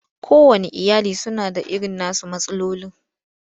Kowanne iyali suna da irin nasu matsalolin.